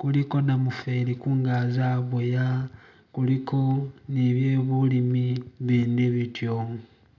kuliko namuferi kungaji aboya kuliko ni byebulimi bindi bityo.